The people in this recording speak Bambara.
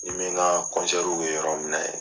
Ni n bɛ n ka kɛ yɔrɔ minɛ